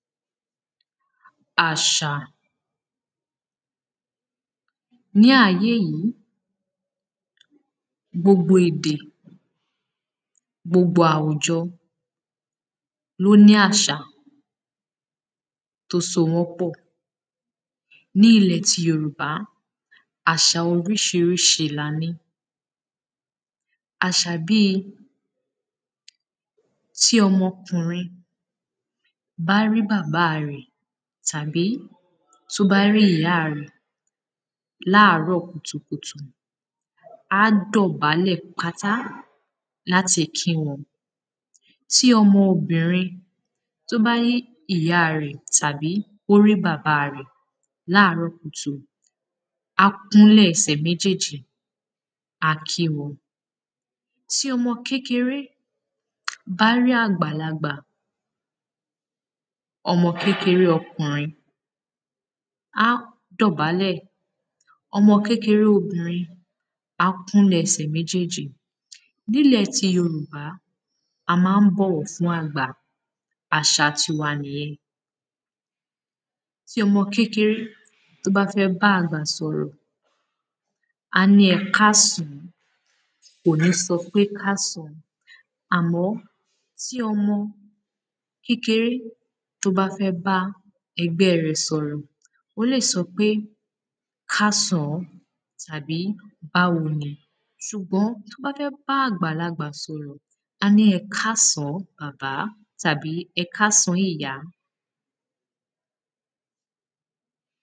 àṣà ní ayé yìí gbogbo èdè, gbogbo àwùjọ ló ní àṣà tó so wọ́n pọ̀ ní ilẹ̀ tí yorùbá àṣa oríṣiríṣi la ní àṣà bíi tí ọmọkùnrin bá rí bàbáa rẹ̀ tàbí ìyáa rẹ̀ láàárọ̀ kùtùkùtù á dọ̀bálẹ̀ pátá láti kí wọn. tí ọmọ obìnrin tó bá rí ìyáa rẹ̀ tàbí ó rí bàbáa rẹ̀ láàárọ̀ kùtùkùtù á kúnlẹ̀ ẹsẹ̀ méjèèjì á kí wọn. tí ọmọ kékeré bá rí àgbàlagbà ọmọ kékeré okùnrin á dọ̀bálẹ̀, ọmọ kékeré obìnrin á kúnlẹ̀ ẹsẹ̀ méjèèjì nílẹ̀ ti Yorùbá, a máa ń bọ̀wọ̀ fún àgbà, àṣa tiwa nìyẹn tí ọmọ kékeré tó bá fẹ́ bá àgbà sọ̀rọ̀ á ní ẹkásàn án kò ní sọ pé kásàn án àmọ́ tí ọmọ kékeré tó bá fẹ́ bá ẹgbẹ́ẹ rẹ̀ sọ̀rọ̀ ó lè sọ pé kásàn án, àbí báwo ni ṣùgbọ́n tó bá fẹ́ bá àgbàlagbà sọ̀rọ̀ á ní ẹkásàn án bàbá tàbí ẹkásàn án ìyá